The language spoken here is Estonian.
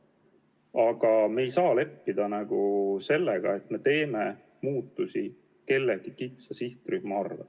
Aga me ei saa leppida sellega, et me teeme muutusi kellegi kitsa sihtrühma arvel.